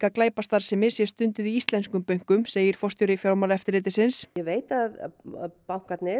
glæpastarfsemi sé stunduð í íslenskum bönkum segir forstjóri Fjármálaeftirlitsins ég veit að bankarnir